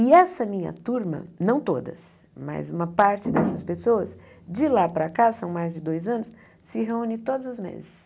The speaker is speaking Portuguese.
E essa minha turma, não todas, mas uma parte dessas pessoas, de lá para cá, são mais de dois anos, se reúne todos os meses.